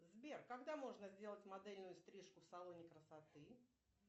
сбер когда можно сделать модельную стрижку в салоне красоты